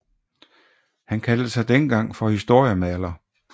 Han kaldte sig dengang for historiemaler